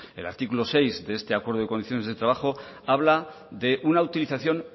el artículo seis de este acuerdo de condiciones de trabajo habla de una utilización